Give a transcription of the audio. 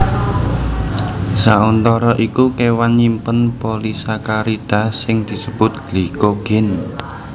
Sauntara iku kéwan nyimpen polisakarida sing disebut glikogen